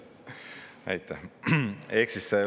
Aitäh!